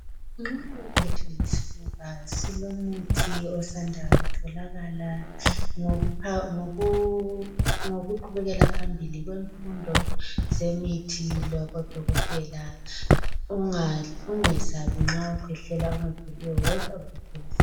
Nxa uphethwe yisifuba silomuthi osanda kutholakala, ngokuqubekela phambili kwemfundo zemithi labo dokotela ungesabi ma ukwehlela okungapheliyo woza uzothola usizo.